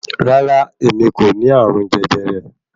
Rárá, èmi n kò ní ààrùn jẹjẹrẹ